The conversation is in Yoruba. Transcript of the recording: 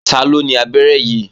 Taló ni abẹ́rẹ́ yìí?